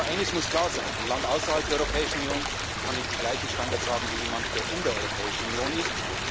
Aber eines muss klar sein Ein Land außerhalb der Europäischen Union kann nicht die gleichen Standards haben wie jemand, der in der Europäischen Union